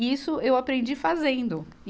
E isso eu aprendi fazendo.